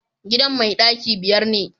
gidan mai daki biyar ne